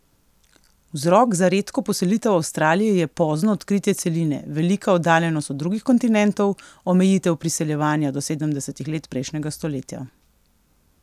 Vzrok za redko poselitev Avstralije je pozno odkritje celine, velika oddaljenost od drugih kontinentov, omejitev priseljevanja do sedemdesetih let prejšnjega stoletja.